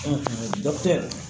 dɔkitɛri